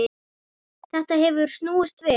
Þetta hefur snúist við.